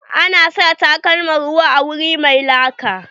A na sa takalman ruwa a wuri mai laka.